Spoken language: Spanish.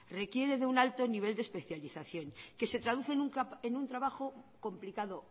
requiere de un alto nivel de especialización que se traduce en un trabajo complicado